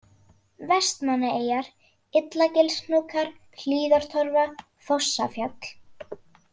Vestmannaeyjar, Illagilshnúkar, Hlíðartorfa, Fossafjall